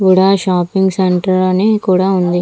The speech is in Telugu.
వుడా షాపింగ్ సెంటర్ అని కూడా ఉంది.